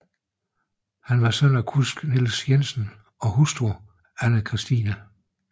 Han var søn af kusk Niels Jensen og hustru Ane Kristine f